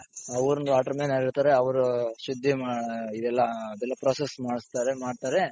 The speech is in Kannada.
ಆ ಊರಿನ water man ಯಾರಿರ್ತಾರೆ ಅವ್ರು ಶುದ್ದಿ ಇದೆಲ್ಲ ಅದೆಲ್ಲ process ಮಾಡ್ಸ್ತಾರೆ ಮಾಡ್ತಾರೆ.